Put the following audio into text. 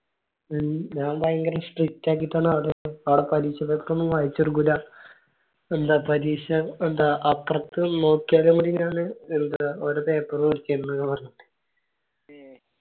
ഞാൻ ഭയങ്കര strict അകിറ്റാണ് ആളെ കളി വായിച്ചെടുക്കൂല എല്ലാ പരീക്ഷ എന്താ അപ്പാർത്തുന്നു നോക്കിയാല് കൂടി എന്താ വെറുതെ paper പിടിക്കുന്നേ പറഞ്ഞിട്ട്